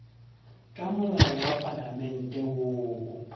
ka molao wa palamente woo